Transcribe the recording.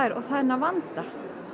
og þennan vanda